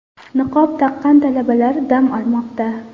Niqob taqqan talabalar dam olmoqda.